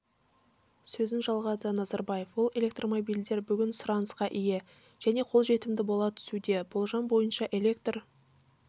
сөзін жалғады назарбаев ол электромобильдер бүгін сұранысқа ие және қолжетімді бола түсуде болжам бойынша электр